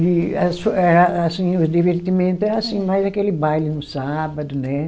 E a su, eh assim, os divertimento é assim, mais aquele baile no sábado, né?